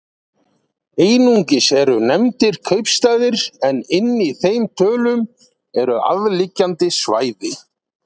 Einungis eru nefndir kaupstaðir en inni í þeim tölum eru aðliggjandi svæði.